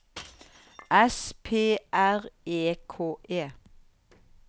S P R E K E